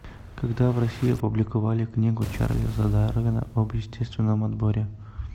когда в россии опубликовали книгу чарльза дарвина об естественном отборе